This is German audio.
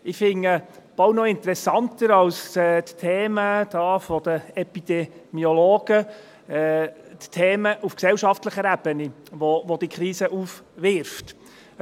Ich finde die Themen auf gesellschaftlicher Ebene, welche diese Krise aufwirft, fast noch interessanter als die Themen der Epidemiologen.